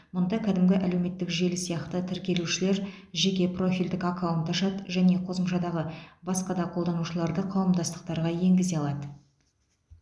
мұнда кәдімгі әлеуметтік желі сияқты тіркелушілер жеке профильдік аккаунт ашады және қосымшадағы басқа да қолданушыларды қауымдастықтарға енгізе алады